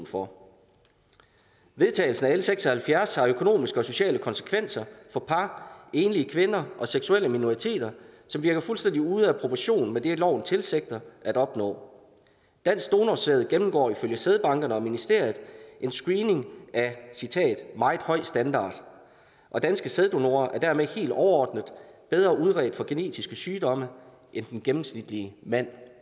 for vedtagelsen af l seks og halvfjerds har økonomiske og sociale konsekvenser for par enlige kvinder og seksuelle minoriteter som virker fuldstændig ude af proportion med det loven tilsigter at opnå dansk donorsæd gennemgår ifølge sædbankerne og ministeriet en screening af meget høj standard og danske sæddonorer er dermed helt overordnet bedre udredt for genetiske sygdomme end den gennemsnitlige mand